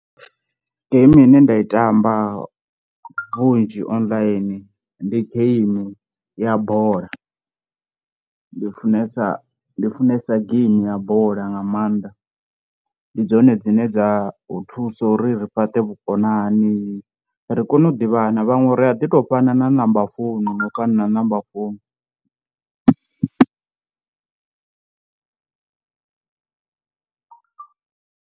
Geimi ine nda i tamba vhunzhi online ndi geimi ya bola, ndi funesa ndi funesa game ya bola nga maanḓa, ndi dzone dzine dza u thusa uri ri fhaṱe vhukonani ri kone u ḓivhana vhaṅwe ri a ḓi to fhana na number founu na u kaṋa na number founu.